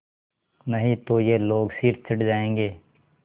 नहीं तो ये लोग सिर चढ़ जाऐंगे